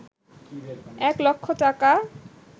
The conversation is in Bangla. এক লক্ষ টাকা